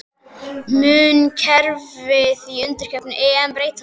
Mun kerfið í undankeppni EM breytast?